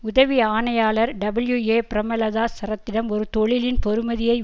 உதவி ஆணையாளர் டபிள்யூஏபிரேமலதா சரத்திடம் ஒரு தொழிலின் பெறுமதியை